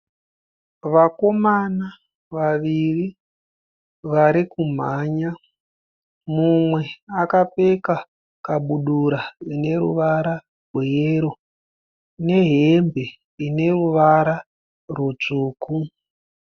Vakomana vaviri vari kumhanya mumwe akapfeka kabudura ine ruvara rweyero nehembe ineruvara rutsvuku.